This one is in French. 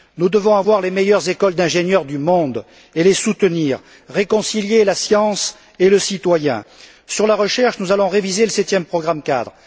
Nous devons avoir les meilleures écoles d'ingénieurs du monde et les soutenir. Réconcilier la science et le citoyen. Sur la recherche, nous allons réviser le septième programme cadre.